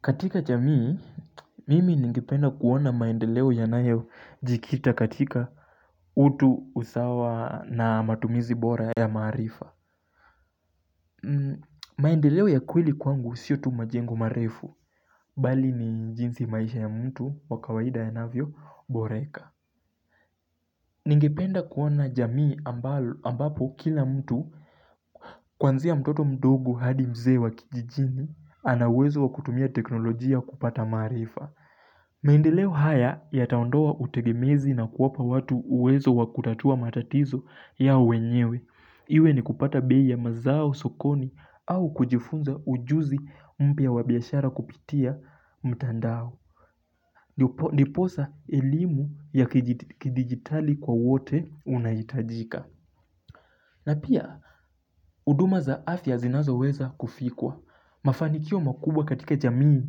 Katika jamii, mimi ningependa kuona maendeleo yanayojikita katika utu, usawa na matumizi bora ya maarifa. Maendeleo ya kweli kwangu sio tu majengo marefu. Bali ni jinsi maisha ya mtu wakawaida yanavyoboreka. Ningependa kuona jamii ambapo kila mtu kwanzia mtoto mdogo hadi mzee wa kijijini. Anauwezo wa kutumia teknolojia kupata maarifa. Maendeleo haya yataondoa utegemezi na kuwapa watu uwezo wakutatua matatizo yao wenyewe. Iwe ni kupata bei ya mazao sokoni au kujifunza ujuzi mpya wa biashara kupitia mtandao Diposa elimu ya kidigitali kwa wote unaitajika na pia huduma za afya zinazoweza kufikwa Mafanikio makubwa katika jamii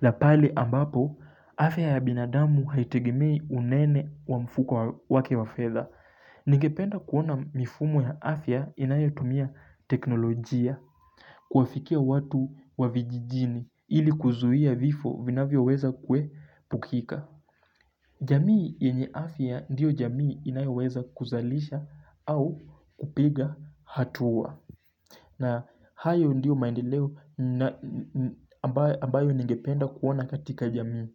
la pale ambapo, afya ya binadamu haitegimei unene wa mfuko wake wa fedha. Ningependa kuona mifumo ya afya inayotumia teknolojia kuafikia watu wa vijijini ili kuzuia vifo vinavyoweza kuepukika. Jamii yenye afya ndiyo jamii inayoweza kuzalisha au kupiga hatua. Na hayo ndio maendeleo ambayo ambayo ningependa kuona katika jamii.